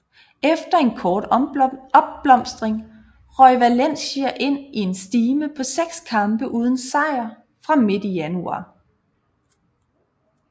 Efter en kort opblomstring røg Valencia ind i en stime på seks kampe uden sejr fra midt i januar